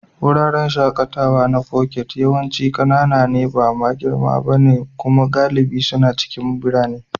Wuraren shakatawa na Foket yawanci ƙanana ne, ba ma girma ba. Kuma galibi suna cikin birane.